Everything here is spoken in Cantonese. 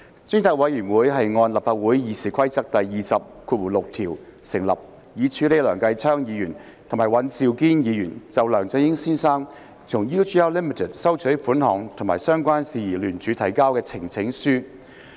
專責委員會按立法會《議事規則》第206條而成立，以處理梁繼昌議員及尹兆堅議員就梁振英先生從 UGL Limited 收取款項及相關事宜聯署提交的呈請書。